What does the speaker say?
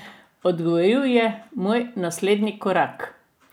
Odgovoril je: "Moj naslednji korak?